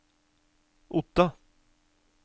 Otta